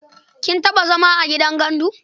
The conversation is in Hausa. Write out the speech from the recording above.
Kin taɓa zama a gidan gandu?